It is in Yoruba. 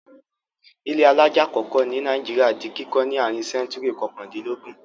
Ilé alájà àkọ́kọ́ ní Nàìjíríà di kíkọ́ ní àárín sẹ́ńtúrì kọkàndínlógún.